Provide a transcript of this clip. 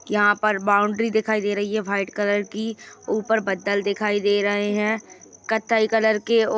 यहाँ पर बॉउंड्री दिखाई दे रही है वाइट कलर की ऊपर बदल दिखाई दे रहे हैं कथ्थई कलर के और --